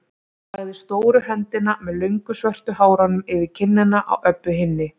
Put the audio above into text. Hann lagði stóru höndina með löngu svörtu hárunum yfir kinnina á Öbbu hinni.